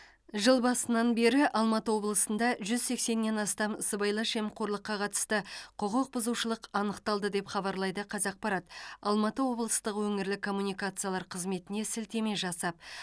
жыл басынан бері алматы облысында жүз сексеннен астам сыбайлас жемқорлыққа қатысты құқық бұзушылық анықталды деп хабарлайды қазақпарат алматы облыстық өңірлік коммуникациялар қызметіне сілтеме жасап